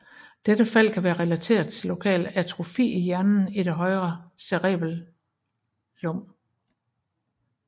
Dette fald kan være relateret til lokal atrofi af hjernen i det højre cerebellum